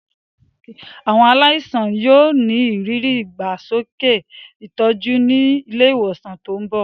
Àwọn aláìsàn yóò ní ìrírí ìdàgbàsókè ìtọ́jú ní ilé ìwòsàn tó ń bọ̀.